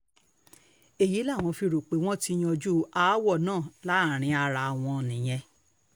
èyí làwọn fi rò pé wọ́n ti yanjú aáwọ̀ náà láàrin ara wọn nìyẹn